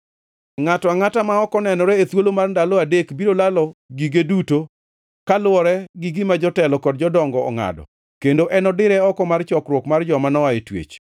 Ngʼato angʼata ma ok onenore e thuolo mar ndalo adek biro lalo gige duto, kaluwore gi gima jotelo kod jodongo ongʼado, kendo enodire oko mar chokruok mar joma noa e twech.